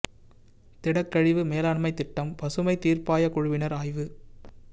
திடக்கழிவு மேலாண்மை திட்டம் பசுமை தீர்ப்பாய குழுவினர் ஆய்வு